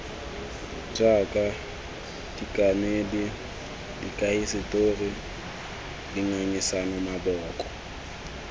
jaaka dikanedi dikahisetori dingangisano maboko